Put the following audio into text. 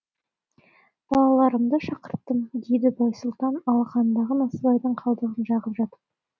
балаларымды шақырттым деді байсұлтан алақанындағы насыбайдың қалдығын қағып жатып